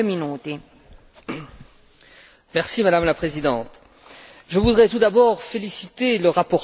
Madame la Présidente, je voudrais tout d'abord féliciter le rapporteur pour l'excellent travail qui a été fait.